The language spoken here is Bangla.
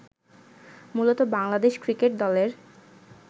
মূলত বাংলাদেশ ক্রিকেট দলের